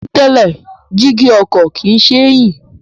Ní tẹ́lẹ̀, jígí ọkọ̀ kìí ṣe é yí